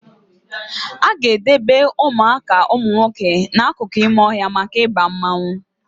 Aga edebe Ụmụaka umunwoke na akụkụ ime ọhịa maka Ịba mmanwụ